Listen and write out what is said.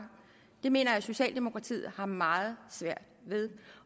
det mener jeg at socialdemokratiet har meget svært ved det